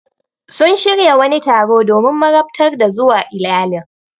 Sun shirya wani taro domin marabtar ta zuwa iyalan.